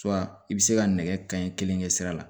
i bɛ se ka nɛgɛ kanɲɛ kelen kɛ sira la